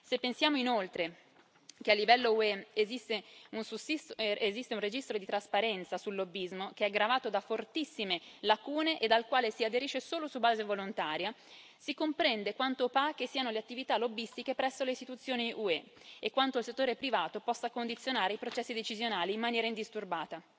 Se pensiamo, inoltre, che a livello UE esiste un registro per la trasparenza sul lobbismo, che è gravato da fortissime lacune e al quale si aderisce solo su base volontaria, si comprende quanto opache siano le attività lobbistiche presso le istituzioni UE e quanto il settore privato possa condizionare i processi decisionali in maniera indisturbata.